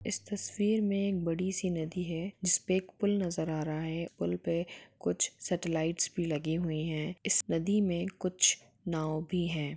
इस तस्वीर में एक बड़ी सी नदी है जिसपे एक पुल नज़र आ रहा है पुल पे कुछ सेटेलाइट्स भी लगी हुई है इस नदी में कुछ नाव भी है।